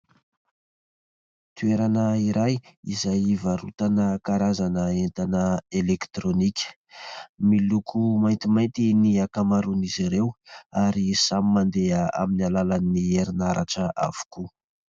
Toerana iray izay hivarotana karazana entana elektrônika. Miloko maintimainty ny ankamaroan'izy ireo ary samy mandeha amin'ny alalan'ny herinaratra avokoa.